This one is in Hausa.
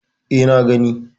E, na gani.